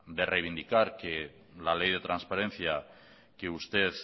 de reivindicar que la ley de transparencia que usted